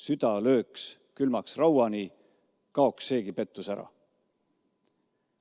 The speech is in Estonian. Süda lööks külmaks rauani, kaoks seegi pettus ära.